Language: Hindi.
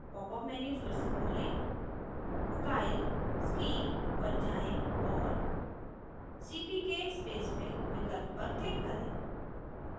popअप menu फिर से खोलें style scheme पर जाएँ और cpk spacefill विकल्प पर click करें